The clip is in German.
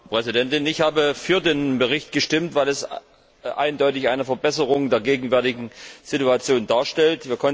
Frau Präsidentin! Ich habe für den Bericht gestimmt, weil er eindeutig eine Verbesserung der gegenwärtigen Situation darstellt.